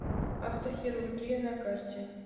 автохирургия на карте